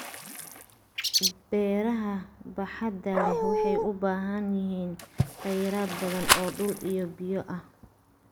Beeraha baaxadda leh waxay u baahan yihiin khayraad badan oo dhul iyo biyo ah.